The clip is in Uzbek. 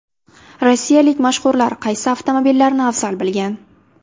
Rossiyalik mashhurlar qaysi avtomobillarni afzal bilgan?